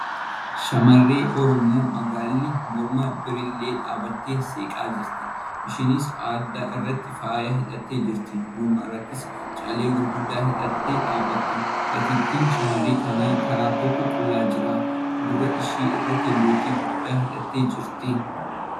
Shamarreen Oromo magaalli morma birillee dhaabbattee seeqaa jirti .Isheenis adda irratti faaya hidhattee jirti. Morma irrattis callee gurguddaa hidhattee dhaabbatti .Gateettiin shamarree kanaa karaa tokkon qullaa jira. Gurra ishee irratti lootii guddaa hidhattee jirti.